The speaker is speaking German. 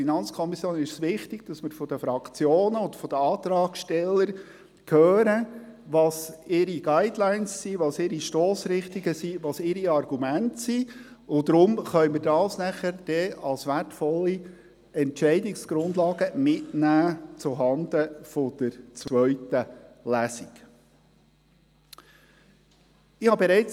Für die FiKo ist es jedoch wichtig, von den Fraktionen und den Antragstellern zu hören, welches ihre Guidelines, Stossrichtungen und Argumente sind, die wir anschliessend als wertvolle Entscheidungsgrundlagen zuhanden der zweiten Lesung mitnehmen können.